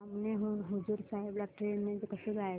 धामणी हून हुजूर साहेब ला ट्रेन ने कसं जायचं